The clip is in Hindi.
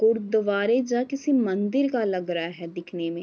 गुरुद्वारे जा किसी मंदिर का लग रहा है दिखने में।